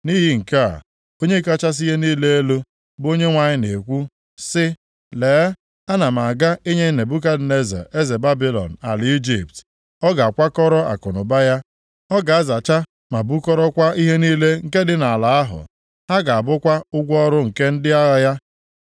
Nʼihi nke a, Onye kachasị ihe niile elu, bụ Onyenwe anyị na-ekwu sị: Lee, ana m aga inye Nebukadneza eze Babilọn ala Ijipt. Ọ ga-akwakọrọ akụnụba ya, ọ ga-azacha ma bukọrọkwa ihe niile nke dị nʼala ahụ. Ha ga-abụkwa ụgwọ ọrụ nke ndị agha ya.